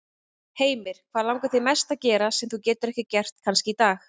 Heimir: Hvað langar þig mest að gera, sem þú getur ekki gert kannski í dag?